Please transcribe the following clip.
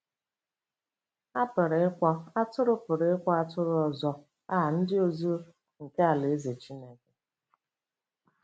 A pụrụ ịkpọ “atụrụ pụrụ ịkpọ “atụrụ ọzọ” a “ndị ozi” nke Alaeze Chineke.